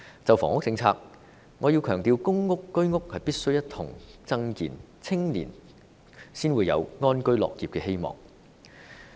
就房屋政策來說，我要強調，公屋和居屋必須一同增建，青年才有安居樂業的希望。